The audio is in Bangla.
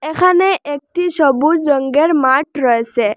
এখানে একটি সবুজ রঙ্গের মাঠ রয়েছে।